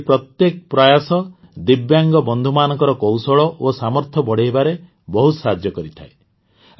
ଏହିଭଳି ପ୍ରତ୍ୟେକ ପ୍ରୟାସ ଦିବ୍ୟାଙ୍ଗ ବନ୍ଧୁମାନଙ୍କର କୌଶଳ ଓ ସାମର୍ଥ୍ୟ ବଢ଼ାଇବାରେ ବହୁତ ସାହାଯ୍ୟ କରିଥାଏ